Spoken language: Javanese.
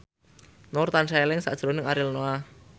Nur tansah eling sakjroning Ariel Noah